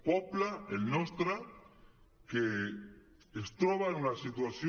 poble el nostre que es troba en una situació